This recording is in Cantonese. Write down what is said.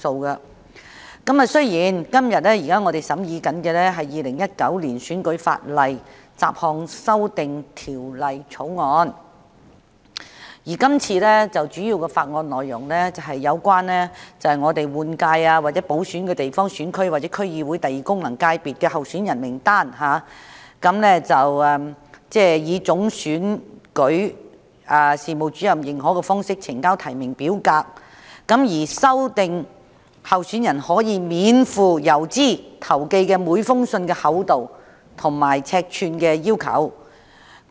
我們今天審議的是《2019年選舉法例條例草案》，主要是有關容許立法會換屆選舉或補選的地方選區或區議會功能界別候選人名單上的候選人以總選舉事務主任認可的方式呈交提名表格，以及修訂候選人可免付郵資投寄的每封信件的厚度及尺寸規定。